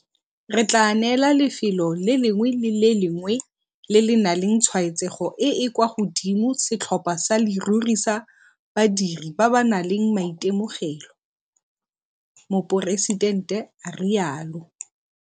Re tla neela lefelo le lengwe le le lengwe le le nang le tshwaetsego e e kwa godimo setlhopha sa leruri sa badiri ba ba nang le maitemogelo, Moporesitente a rialo.